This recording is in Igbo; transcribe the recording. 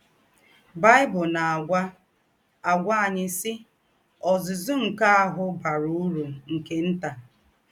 Bible na - àgwà - àgwà ányị, sì: “ Ọ́zụ́zụ́ nke áhụ̄ bàrà ūrù nke ntà. ”